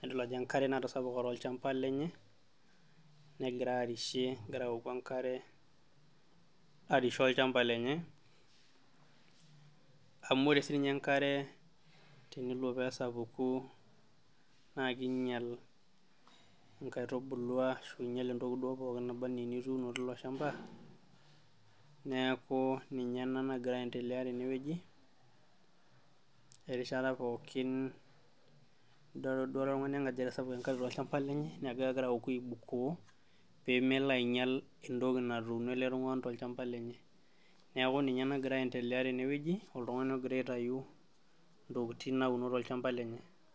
nidol ajo enkare natasapuka tolchamba lenye, negira arishie egira awoku enkare arishie olchamba lenye amu ore sininye enkare tenelo pee esapuku naake inyal inkaitubulu aashu iinyal entoki duo pookin naba nee enituuno tilo shamba, neeku ninye ena nagira aiendelea tene wueji. Erishata pookin nedol ele tung'ani ajo etasapuka enkare tolchamba lenye neeku egira awoku aibukoo pee melo ainyal entoki natuuno ele tung'ani tolchamba lenye. Neeku ninye nagira aiendelea tene wueji, oltung'ani logira aitayu ntokitin nauna tolchamba lenye.